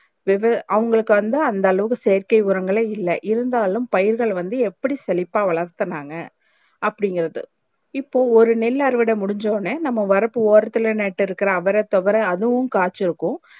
விவ அவுங்களுக்கு வந்து அந்த அளவுக்கு செயற்கை உரங்களை இல்லை இருந்தாலும் பயிர்கள் வந்து எப்டி செழிப்பாக வளத்துனாங்க அப்டி இங்கிறது இப்போ ஒரு நெல் அறுவடை முடிச்சினோ நம்ம வரப்பு ஓரத்துல நட்டு இருக்குற அவர தொவர அதுவும் காச்சி இருக்கும்